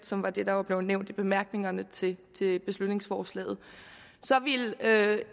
som er det der er nævnt i bemærkningerne til beslutningsforslaget så ville